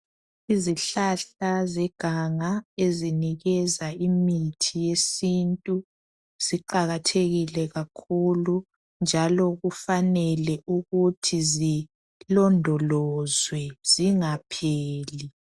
Izihlahla zeganga ezinikeza imithi yesintu siqakathekile kakhulu njalo kufanele ukuthi zilondolozwe zingapheli.